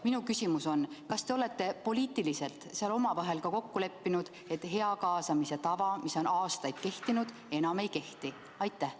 Minu küsimus on: kas te olete poliitiliselt omavahel kokku leppinud, et kaasamise hea tava, mis on aastaid kehtinud, enam ei kehti?